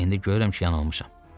İndi görürəm ki, yanılmışam.